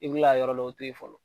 I bi kila ka yɔrɔ dɔw toyi fɔlɔ.